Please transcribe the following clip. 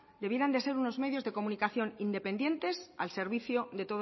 debieran de ser unos medios de comunicación independientes al servicio de